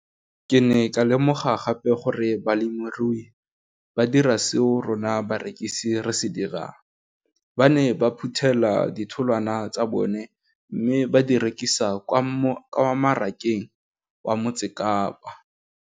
Ke ne ka lemoga gape gore balemirui ba dira seo rona barekisi re se dirang ba ne ba phuthela ditholwana tsa bona mme ba di rekisa kwa marakeng wa Motsekapa.